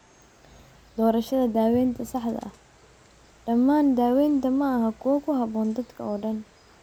Doorashada Daawaynta Saxda ah Dhammaan daawaynta maaha kuwo ku habboon dadka oo dhan.